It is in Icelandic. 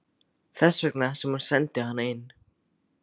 Þess vegna sem hún sendi hana inn.